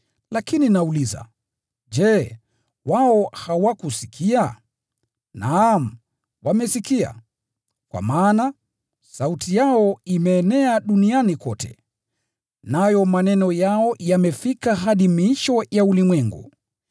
Lakini nauliza: Je, wao hawakusikia? Naam, wamesikia, kwa maana: “Sauti yao imeenea duniani pote, nayo maneno yao yameenea hadi miisho ya ulimwengu.”